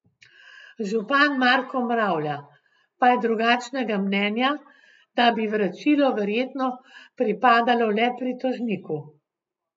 Župan Marko Mravlja pa je drugačnega mnenja, da bi vračilo verjetno pripadalo le pritožniku.